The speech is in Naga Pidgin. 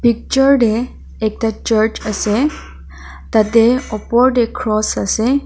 Picture tae ekta church ase tatae opor tae cross ase.